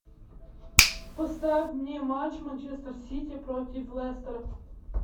поставь мне матч манчестер сити против лестера